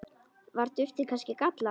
Var duftið kannski gallað?